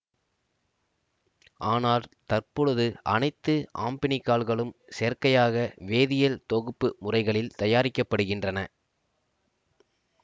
ஆனால் தற்பொழுது அனைத்து ஆம்பீனிகால்களும் செயற்கையாக வேதியியல் தொகுப்பு முறைகளில் தயாரிக்க படுகின்றன